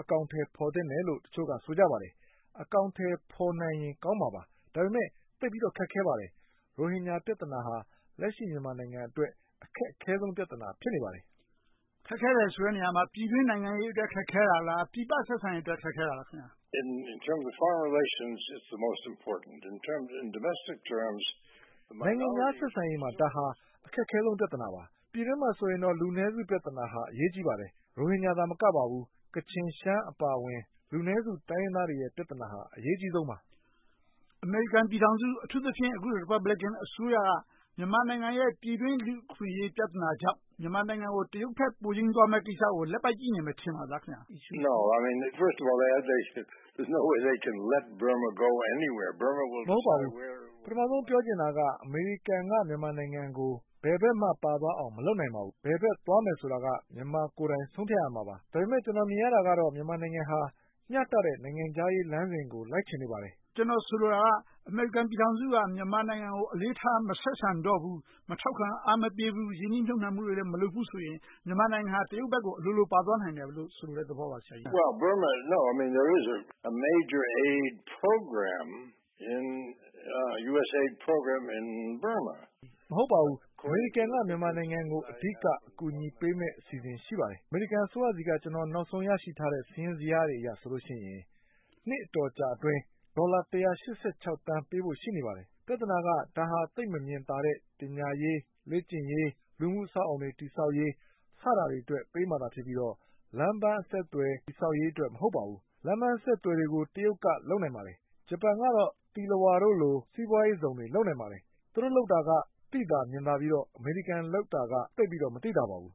အကောင်အထည်ဖော်သင့်တယ်လို့ တချို့က ဆိုကြပါတယ်။ အကောင်အထည်ဖော်နိုင်ရင် ကောင်းပါတယ်။ ဒါပေမဲ့ သိပ်ပြီးတော့ ခက်ခဲပါတယ်။ ရိုဟင်ဂျာပြဿနာဟာ လက်ရှိ မြန်မာနိုင်ငံအတွက် အခက်အခဲဆုံး ပြဿနာ ဖြစ်နေပါတယ်။ ဦးကျော်ဇံသာ ။ ။ ခက်ခဲတယ်ဆိုတဲ့ နေရာမှာ ပြည်တွင်းနိုင်ငံရေအတွက် ခက်ခဲတာလား။ ပြည်ပဆက်ဆံရေးအတွက် ခက်ခဲတာလား။ David Steinberg ။ ။ နိုင်ငံခြား ဆက်ဆံရေးမှာ ဒါဟာ အခက်အခဲဆုံး ပြဿနာပါ။ ပြည်တွင်းမှာဆိုရင်တော့ လူအနည်းစု ပြဿနာဟာ အရေးကြီးပါတယ်။ ရိုဟင်ဂျာသာမကပါဘူး ကချင်၊ ရှမ်းအပါအဝင် လူနည်းစုတိုင်းရင်းသားတွေရဲ့ ပြဿနာဟာ အရေးအကြီးဆုံးပါ။ ဦးကျော်ဇံသာ ။ ။ အမေရိကန်ပြည်ထောင်စု အထူးသဖြင့် အခုလို ရီပတ်ဘလင်ကန် အစိုးရက ပြည်တွင်းလူ့အခွင့်အရေး ပြဿနာကြောင့် မြန်မာနိုင်ငံကို တရုတ်ဘက် ပိုယိမ်းသွားမယ့်ကိစ္စကို ဒီအတိုင်း လက်ပိုက်ကြည့်နေမယ် ထင်ပါလား။ David Steinberg ။ ။ မဟုတ်ပါဘူး။ ပထမဦးဆုံး ပြောချင်တာက အမေရိကန်က မြန်မာနိုင်ငံကို ဘယ်ဘက်မှ ပါသွားအောင် မလုပ်နိုင်ပါဘူး။ ဘယ်ဘက်သွားမယ်ဆိုတာက မြန်မာကိုယ်တိုင် ဆုံးဖြတ်ရမှာပါ။ ဒါပေမဲ့ ကျနော် မြင်ရတာကတော့ မြန်မာနိုင်ငံဟာ မျှတတဲ့ နိုင်ငံခြားရေးလမ်းစဉ်ကို လိုက်ချင်ပါတယ်။ ဦးကျော်ဇံသာ ။ ။ ကျနော် ဆိုလိုတာက အမေရိကန်ပြည်ထောင်စုက မြန်မာနိုင်ငံကို အလေးထား မဆက်ဆံတော့ဘူး။ မထောက်ခံ အားမပေးတော့ဘူး။ ရင်းနှီးမြုပ်နံှမှုတွေလည်း မလုပ်ဘူးဆိုရင် မြန်မာနိုင်ငံဟာ တရုတ်ဘက်ကို အလိုလိုပါသွားနိုင်တယ်လို့ ဆိုလိုတဲ့သဘောပါ။ David Steinberg ။ ။ မဟုတ်ပါဘူး။ အမေရိကန်နိုင်ငံက မြန်မာနိုင်ငံကို အဓိက အကူအညီပေးမယ့် အစီအစဉ် ရှိပါတယ်။ အမေရိကန်အစိုးရဆီက ကျနော် နောက်ဆုံးရရှိထားတဲ့ စာရင်းဇယားတွေအရဆိုရင် နှစ်အတော်ကြာအတွင်း ဒေါ်လာ သန်း ပေးဖို့ရှိနေပါတယ်။ ပြဿနာက ဒါဟာ သိပ်မမြင်သာတဲ့ ပညာရေး၊ လေ့ကျင့်ရေး၊ လူ့မှုအဆောက်အအုံတွေ တည်ဆောက်ရေး စတာတွေအတွက် ပေးမှာသာ ဖြစ်ပြီးတော့၊ လမ်းပန်အဆက်အသွယ် တည်ဆောက်ရေးအတွက် မဟုတ်ပါဘူး။ လမ်းပန်အဆက်အသွယ်တွေကို တရုတ်က လုပ်နိုင်ပါတယ်။ ဂျပန်ကတော့ သီလဝါတို့လို စီးပွားရေးဇုန်တွေ လုပ်နိုင်ပါတယ်။ သူတို့လုပ်တာက သိသာမြင်သာပြီးတော့ အမေရိကန် လုပ်တာကတော့ သိပ်ပြီးတော့ မသိသာပါဘူး။ ဦး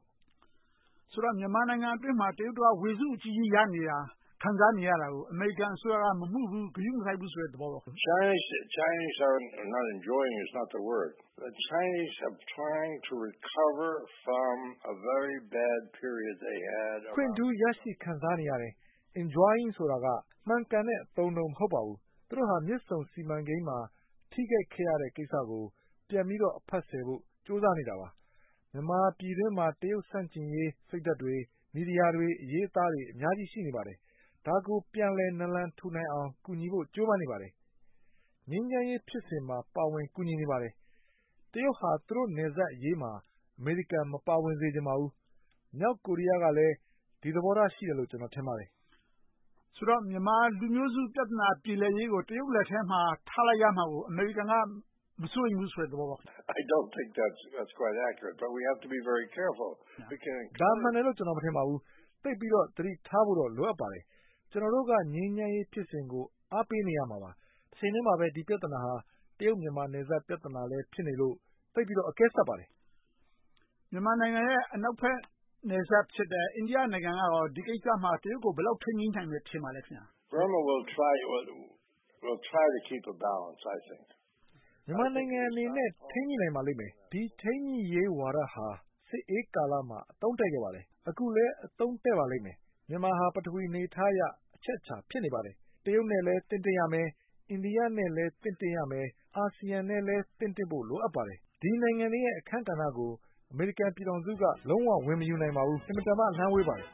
ကျော်ဇံသာ ။ ။ ဆိုတော့ မြန်မာနိုင်ငံအတွင်းမှာ တရုတ်တို့က ဝေစုအကြီးကြီးရနေတာ၊ ခံစားနေတာကို အမေရိကန်အစိုးရက မမူဘူး၊ ဂရုမစိုက်ဘူးဆိုတဲ့ သဘောပေါ့။ David Steinberg ။ ။ အခွင့်ထူးရရှိခံစားနေရတယ်။ Enjoying ဆိုတာက မှန်ကန်တဲ့ အသုံးအနှုန်း မဟုတ်ပါဘူး။ သူတို့ဟာ မြစ်ဆုံစီမံကိန်းမှာ ထိခိုက်ခဲ့ရတဲ့ကိစ္စကို ပြန်ပြီးတော့ အဖတ်ဆယ်ဖို့ ကြိုးစားနေတာပါ။ မြန်မာပြည်တွင်းမှာ တရုတ်ဆန့်ကျင်ရေး စိတ်ဓါတ်တွေ၊ မီဒီယာတွေ အရေးအသားတွေ အများကြီး ရှိနေပါတယ်။ ဒါကို ပြန်လည်နလန်ထူနိုင်အောင် ကူညီဖို့ ကြိုးပမ်းနေပါတယ်။ ငြိမ်းချမ်းရေးဖြစ်စဉ်မှာ ပါဝင်ကူညီနေပါတယ်။ တရုတ်ဟာ သူတို့နယ်စပ်အရေးမှာ အမေရိကန်မပါဝင်စေချင်ပါဘူး။ မြောက်ကိုရီးယားကလည်း ဒီသဘောထား ရှိတယ်လို့ ကျနော် ထင်ပါတယ်။ ဦးကျော်ဇံသာ ။ ။ မြန်မာလူမျိုးစုပြဿနာ ပြေလည်ရေးကို တရုတ်လက်ထဲမှာထားလိုက်ရမှာကို အမေရိကန်က မစိုးရိမ်ဘူးဆိုတဲ့ သဘောပေါ့။ David Steinberg ။ ။ ဒါကိုမှန်တယ်လို့ ကျနော် မထင်ပါဘူး။ သိပ်ပြီးတော့ သတိထားဖို့တော့ လိုအပ်ပါတယ်။ ကျနော်တို့က ငြိမ်းချမ်းရေးဖြစ်စဉ်ကို အားပေးနေရမှာပါ။ တချိန်ထဲမှာပဲ ဒီပြဿနာဟာ တရုတ်နယ်စပ် ပြဿနာလည်း ဖြစ်နေလို့၊ သိပ်ပြီးတော့ အကဲဆတ်ပါတယ်။ ဦးကျော်ဇံသာ ။ ။ မြန်မာနိုင်ငံရဲ့ အနောက်ဘက် နယ်စပ်ဖြစ်တဲ့ အိန္ဒိယနိုင်ငံကရော ဒီကိစ္စမှာ တရုတ်ကို ဘယ်လောက် ထိန်းညှိနိုင်မယ် ထင်ပါသလဲ။ David Steinberg ။ ။ မြန်မာနိုင်ငံအနေနဲ့ ထိန်းညှိနိုင်ပါလိမ့်မယ်။ ဒီထိန်းညှိရေးဝါဒဟာ စစ်အေးကာလမှာ အသုံးတဲ့ခဲ့ပါတယ်။ အခုလည်း အသုံးတဲ့ပါလိမ့်မယ်။ မြန်မာဟာ ပထဝီအနေအထားအရ အချက်အချာ ဖြစ်နေပါတယ်။ တရုတ်နဲ့လည်း သင့်တင့်ရမယ်။ အိန္ဒိယနဲ့လည်း သင့်တင့်ရမယ်။ အာဆီယံနဲ့လည်း သင့်တင့်ဖို့ လိုအပ်ပါတယ်။ ဒီနိုင်ငံတွေရဲ့ အခန်းကဏ္ဍကို အမေရိကန်ပြည်ထောင်စုက လုံးဝဝင်မယူနိုင်ပါဘူး။ အင်မတန်မှ အလှမ်းဝေးပါတယ်